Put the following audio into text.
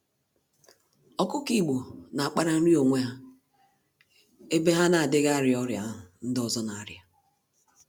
Ọkụkọ Igbo n'akpara nri n'onwe ha, ebe ha n'adịghị arịa ọrịa ahụ ndị ọzọ n'arịa